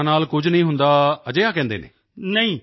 corona ਨਾਲ ਕੁਝ ਨਹੀਂ ਹੁੰਦਾ ਹੈ ਅਜਿਹਾ ਕਹਿੰਦੇ ਹਨ